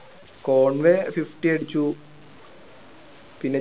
Conway fifty അടിച്ചു പിന്നെ ജടെ